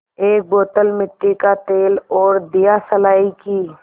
एक बोतल मिट्टी का तेल और दियासलाई की